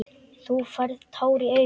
Þú færð tár í augun.